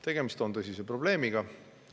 Tegemist on tõsise probleemiga.